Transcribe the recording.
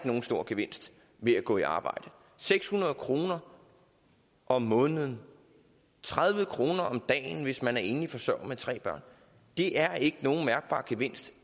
nogen stor gevinst ved at gå i arbejde seks hundrede kroner om måneden tredive kroner om dagen hvis man er enlig forsørger med tre børn det er ikke nogen mærkbar gevinst